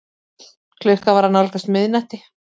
Klukkan var að nálgast miðnætti.